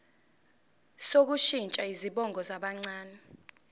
sokushintsha izibongo zabancane